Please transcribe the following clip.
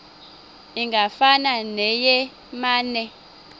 ingafana neye mane